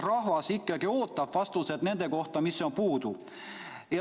Rahvas ootab vastuseid selle kohta, mis on puudu.